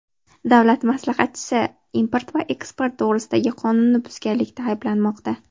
Davlat maslahatchisi import va eksport to‘g‘risidagi qonunni buzganlikda ayblanmoqda.